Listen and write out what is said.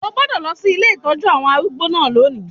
O gbọ́dọ̀ lọ sí ilé ìtọ́jú àwọn arúgbó náà lónìí